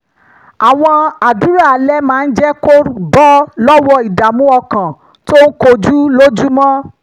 àwọn àdúrà alẹ́ máa ń jẹ́ kó bọ́ lọ́wọ́ ìdààmú ọkàn tó ń kojú lójúmọ́